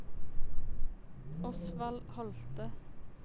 Osvald Holte